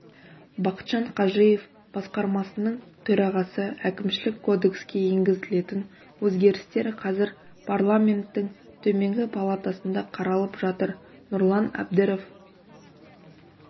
бақытжан қажиев басқармасының төрағасы әкімшілік кодекске енгізілетін өзгерістер қазір парламенттің төменгі палатасында қаралып жатыр нұрлан әбдіров